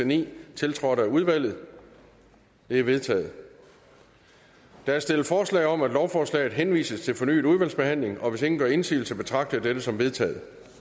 ni tiltrådt af udvalget de er vedtaget der er stillet forslag om at lovforslaget henvises til fornyet udvalgsbehandling hvis ingen gør indsigelse betragter jeg dette som vedtaget